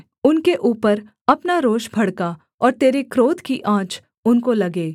उनके ऊपर अपना रोष भड़का और तेरे क्रोध की आँच उनको लगे